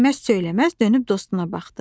Dinməz söyləməz dönüb dostuna baxdı.